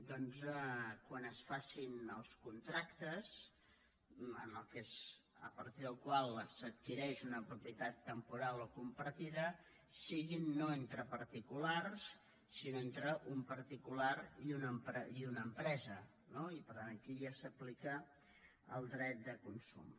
doncs quan es facin els contractes a partir dels quals s’adquireix una propietat temporal o compartida siguin no entre particulars sinó entre un particular i una empresa no i per tant aquí ja s’aplica el dret de consum